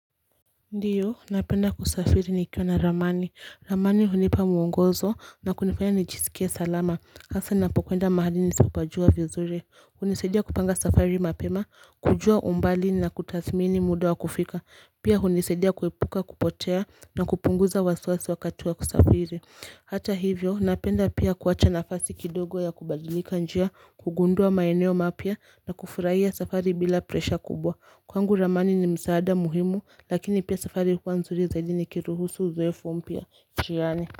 Ndiyo, napenda kusafiri nikiwa na Ramani. Ramani hunipa muongozo na kunifanya nichisikia salama. Hasa napokuenda mahali nisapajua vizuri. Hunisaidia kupanga safari mapema, kujua umbali na kutathimini muda wa kufika. Pia hunisaidia kueipuka kupotea na kupunguza wasiwasi wakati wa kusafiri. Hata hivyo, napenda pia kuwacha nafasi kidogo ya kubadilika njia, kugundua maeneo mapya na kufurahia safari bila presha kubwa. Kwangu ramani ni msaada muhimu lakini pia safari kwa nzuri zaidi nikiruhusu zuefu mpya njiani.